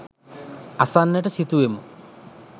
අසන්නට සිතුවෙමු.